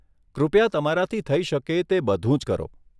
કૃપયા તમારાથી થઇ શકે તે બધું જ કરો.